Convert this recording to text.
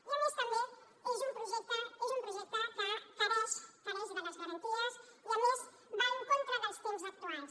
i a més també és un projecte que manca de les garanties i a més va en contra dels temps actuals